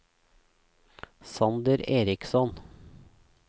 Sander Eriksson